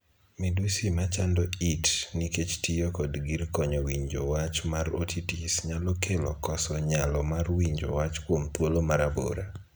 Midusi ma chando it nikech tiyo kod gir konyo winjo wach mar 'otitis' nyalo kelo koso nyalo mar winjo wach kuom thuolo ma rabora.